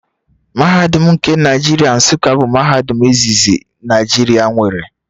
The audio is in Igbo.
Mahadum nke Nigeria Nsuka bụ mahadum izizi Naijiria nwere